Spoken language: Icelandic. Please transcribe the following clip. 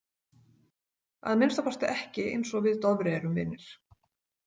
Að minnsta kosti ekki eins og við Dofri erum vinir.